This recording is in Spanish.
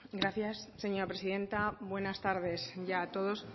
gracias señora presidenta buenas tardes ya a todos